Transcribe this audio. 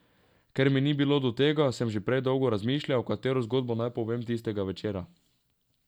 Ker mi ni bilo do tega, sem že prej dolgo razmišljal, katero zgodbo naj povem tistega večera.